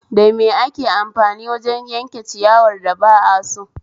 Da me ake amfani wajen yanke ciyawar da ba aso?